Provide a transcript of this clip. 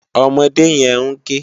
Òmòdé yèn n ké